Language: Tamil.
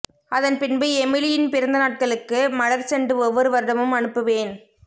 அதன்பின்பு எமிலியின் பிறந்த நாட்களுக்கு மலர் செண்டு ஒவ்வொரு வருடமும் அனுப்புவேன்